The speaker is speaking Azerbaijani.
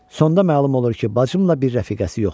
Sonda məlum olur ki, bacımla bir rəfiqəsi yoxdur.